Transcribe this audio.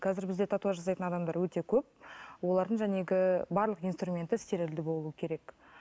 қазір бізде татуаж жасайтын адамдар өте көп олардың барлық инструменті стерильді болуы керек